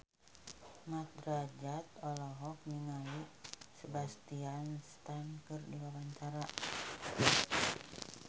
Mat Drajat olohok ningali Sebastian Stan keur diwawancara